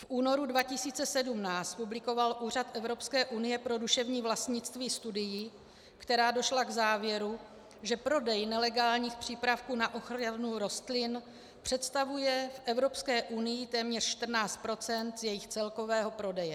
V únoru 2017 publikoval Úřad Evropské unie pro duševní vlastnictví studii, která došla k závěru, že prodej nelegálních přípravků na ochranu rostlin představuje v Evropské unii téměř 14 % z jejich celkového prodeje.